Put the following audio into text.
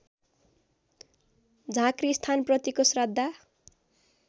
झाँक्री स्थानप्रतिको श्रद्धा